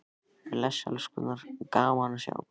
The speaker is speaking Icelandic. Bless elskurnar, gaman að sjá ykkur!